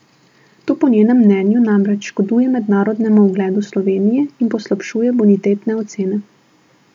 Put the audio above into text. To po njenem mnenju namreč škoduje mednarodnemu ugledu Slovenije in poslabšuje bonitetne ocene.